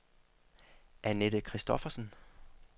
Anette Kristoffersen